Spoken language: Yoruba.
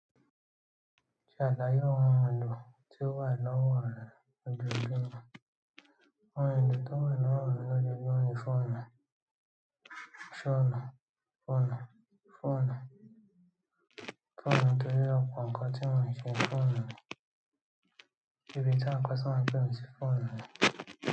Ṣàlàyé oun èlò tí ó wa ní ọwọ rẹ̀ lójojúmọ́? Òun èlò tí ó wà lọwọ mi lójoojúmọ́ ni fóònù, fóònù, fóònù, fóònù, torí ọpọ ǹkan tí mo ṣe fóònù ni. Ibiti àwọn customer pè mi sí fóònù ni.